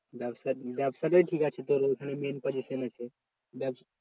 ব্যাবসা ব্যাবসাটাই ঠিকাছে তোর ওখানে main position আছে ব্যাস।